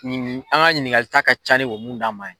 Nin an ka ɲininkali ta ka ca ni o bɛ mun d'a ma ye.